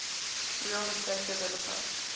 real estate developer